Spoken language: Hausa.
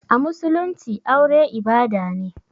A musulumci aure ibada ne.